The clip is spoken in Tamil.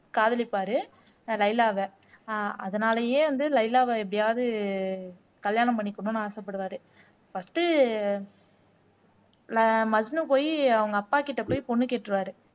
காதலிப்பாரு லைலாவ ஆஹ் அதனாலேயே வந்து லைலாவ எப்படியாவது கல்யாணம் பண்ணிக்கணும்னு ஆசைப்படுவாரு ஃபர்ஸ்ட்டு ஆஹ் மஜ்னு போய் அவங்க அப்பாக்கிட்ட போய் பொண்ணு கேட்டுருவாரு